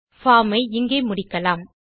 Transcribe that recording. form ஐ இங்கே முடிக்கலாம்